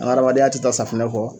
An ka adamadenya tɛ taa safinɛ kɔ